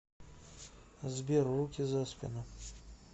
сбер руки за спину